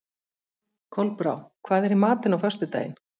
Kolbrá, hvað er í matinn á föstudaginn?